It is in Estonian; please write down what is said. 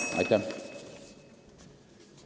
Aitäh!